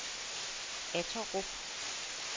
Atterup